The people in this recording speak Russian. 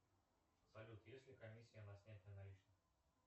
салют есть ли комиссия на снятие наличных